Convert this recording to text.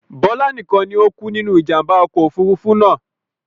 Bọlá nikan ni o kú nínú ìjàmbá ọkọ̀ Òfurufú náà.